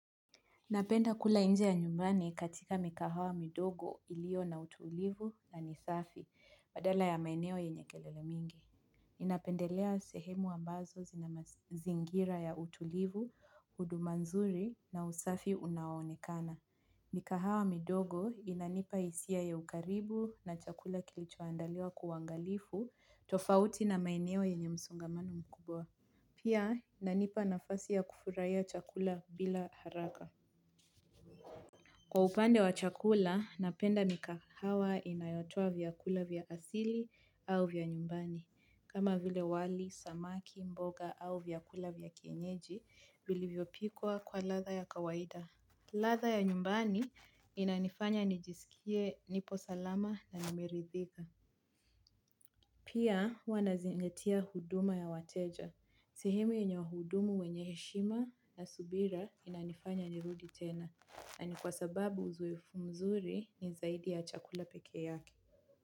Napenda kula nje ya nyumbani katika mikahawa midogo ilio na utulivu na ni safi, badala ya maeneo yenye kelele mingi. Ninapendelea sehemu ambazo zina mazingira ya utulivu, huduma nzuri na usafi unaonekana. Mikahawa midogo inanipa hisia ya ukaribu na chakula kilichoandaliwa kwa uangalifu, tofauti na maeneo yenye msongamano mkubwa. Pia inanipa nafasi ya kufurahia chakula bila haraka. Kwa upande wa chakula, napenda mikahawa inayotoa vyakula vya asili au vya nyumbani. Kama vile wali, samaki, mboga au vyakula vya kienyeji vilivyopikwa kwa ladha ya kawaida. Ladha ya nyumbani inanifanya nijisikie nipo salama na nimeridhika. Pia huwa nazingatia huduma ya wateja. Sehemi yenye wahudumu wenye heshima na subira inanifanya nirudi tena. Na ni kwa sababu uzoefu mzuri ni zaidi ya chakula peke yake.